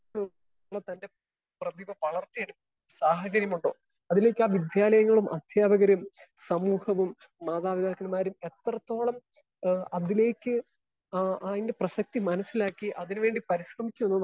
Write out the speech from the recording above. speaker 1 തന്റെ പ്രതിഭ വളർത്തി എടുക്കുക സാഹചര്യം കൊണ്ടോ അതിലേക്ക് ആ വിദ്യാലയങ്ങളും അധ്യാപകരേയും സമൂഹ്യവും മാതാപിതാക്കൻമാരേയും എത്രത്തോളം ഏഹ് അതിലേക്ക് അതിന്റെ പ്രസക്തി മനസ്സിലാക്കി അതിന് വേണ്ടി പരിശ്രമിച്ചു എന്നും